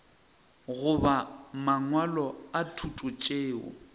goba mangwalo a thuto tšeo